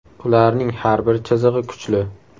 Ularning har bir chizig‘i kuchli.